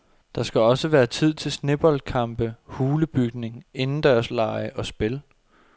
Der skal også være tid til sneboldkampe, hulebygning, indendørslege og spil.